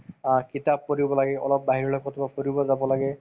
অ, কিতাপ পঢ়িব লাগে অলপ বাহিৰলৈ কৰবাত ফুৰিব যাব লাগে